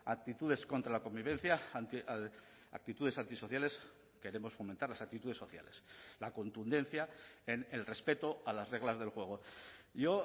actitudes contra la convivencia actitudes antisociales queremos fomentar las actitudes sociales la contundencia en el respeto a las reglas del juego yo